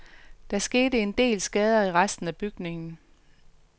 Der skete en del skader i resten af bygningen.